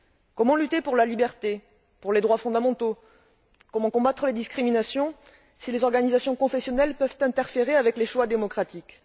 Comment lutter pour la liberté et les droits fondamentaux, comment combattre les discriminations si les organisations professionnelles peuvent interférer avec les choix démocratiques?